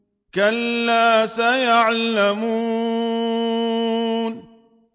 كَلَّا سَيَعْلَمُونَ